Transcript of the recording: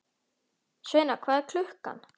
Sveina, hvað er klukkan?